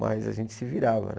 Mas a gente se virava, né?